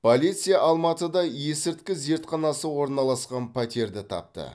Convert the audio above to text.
полиция алматыда есірткі зертханасы орналасқан пәтерді тапты